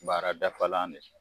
Baara dafalan de